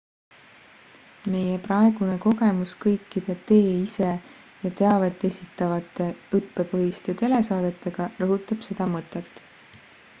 meie praegune kogemus kõikide tee-ise ja teavet esitavate õppepõhiste telesaadetega rõhutab seda mõtet